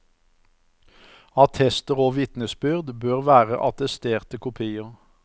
Attester og vitnesbyrd bør være attesterte kopier.